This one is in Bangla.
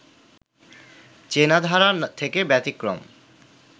চেনাধারা থেকে ব্যতিক্রম